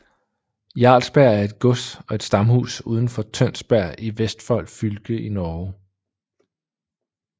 Jarlsberg er et gods og et stamhus udenfor Tønsberg i Vestfold fylke i Norge